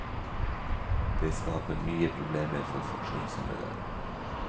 Det skaper nye problemer for funksjonshemmede.